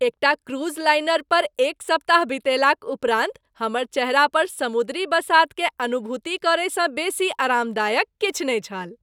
एकटा cruise liner पर एक सप्ताह बितयलाक उपरान्त हमर चेहरा पर समुद्री बसातकेँ अनुभूति करयसँ बेसी आरामदायक किछु नहि छल।